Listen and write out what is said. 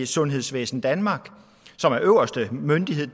sundhedsvæsen danmark som er øverste myndighed